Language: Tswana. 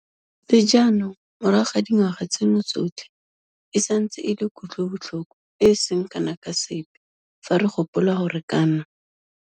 Le jaanong morago ga dingwaga tseno tsotlhe e santse e le kutlobotlhoko e e seng kana ka sepe fa re gopola gore kana.